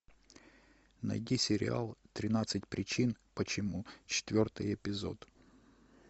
найди сериал тринадцать причин почему четвертый эпизод